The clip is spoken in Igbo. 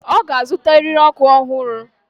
Ọ ga-azụta eriri ọkụ ọhụrụ.